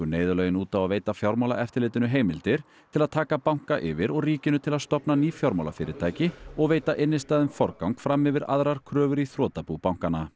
neyðarlögin út á að veita Fjármálaeftirlitinu heimildir til að taka banka yfir og ríkinu til að stofna ný fjármálafyrirtæki og veita innstæðum forgang fram yfir aðrar kröfur í þrotabú bankanna